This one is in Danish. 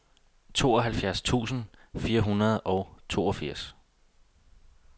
tooghalvfjerds tusind fire hundrede og toogfirs